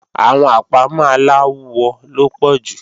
Àwọn àpámọ́ aláwọ ló pọ̀ jù